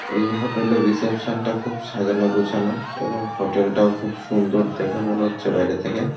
এই হোটেল -এর রিসেপশন -টা খুব সাজানো গোছানো এবং হোটেল -টাও খুব সুন্দর দেখে মনে হচ্ছে বাইরে থেকে।